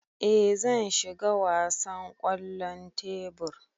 Ee zan shiga wasan kwallon tebur.